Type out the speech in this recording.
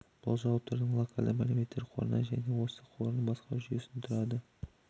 бұл жауаптардың локальды мәліметтер қорынан және осы қорын басқару жүйесінен тұрады